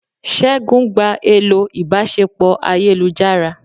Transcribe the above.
segun gbá elò ìbáṣepọ ayélujará